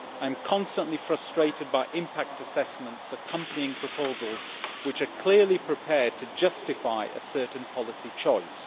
I am constantly frustrated by impact assessments accompanying proposals which are clearly prepared to justify a certain policy choice.